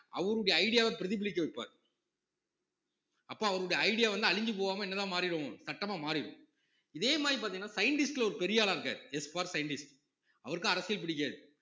அவருடைய idea வ பிரதிபலிக்க வைப்பார் அப்ப அவருடைய idea வந்து அழிஞ்சு போகாம என்னதான் மாறிடும் சட்டமா மாறிடும் இதே மாதிரி பாத்தீங்கன்னா scientist ல ஒரு பெரிய ஆளா இருக்காரு Sfor scientist அவருக்கும் அரசியல் பிடிக்காது